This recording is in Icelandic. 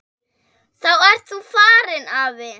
Þá ert þú farinn, afi.